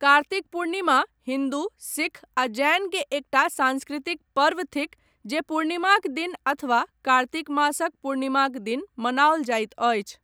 कार्तिक पूर्णिमा हिन्दू, सिख आ जैन के एकटा साँस्कृतिक पर्व थिक जे पूर्णिमाक दिन अथवा कार्तिक मासक पूर्णिमाक दिन मनाओल जाइत अछि।